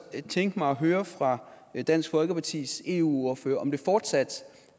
tænke mig at høre fra dansk folkepartis eu ordfører om det fortsat